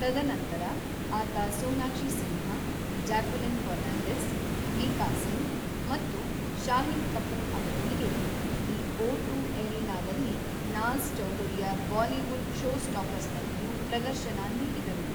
ತದನಂತರ, ಆತ ಸೋನಾಕ್ಷಿ ಸಿನ್ಹಾ, ಜಾಕ್ವೆಲಿನ್ ಫರ್ನಾಂಡೀಸ್, ಮೀಕಾ ಸಿಂಗ್ ಮತ್ತು ಶಾಹಿದ್ ಕಪೂರ್ ಅವರೊಂದಿಗೆ ದಿ ಓಟು ಎರೀನಾದಲ್ಲಿ ನಾಜ಼್ ಚೌಧರಿಯ ಬಾಲಿವುಡ್ ಷೋಸ್ಟಾಪರ್ಸ್‌ನಲ್ಲಿಯೂ ಪ್ರದರ್ಶನ ನೀಡಿದರು.